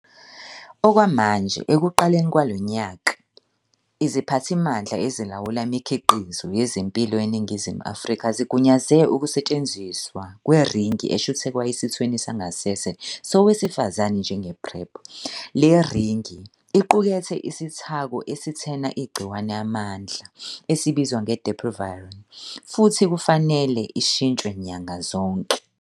Okwamanje, ekuqaleni kwalo nyaka, iZiphathimandla Ezilawula Imikhiqizo Yezempilo eNingizimu Afrika zigunyaze ukusetshenziswa kweringi eshuthekwa esithweni sangasese sowesifazane njenge-PrEP. Le ringi iqukethe isithako esithena igciwane amandla esibizwa nge-dapivirine futhi kufanele ishintshwe nyanga zonke.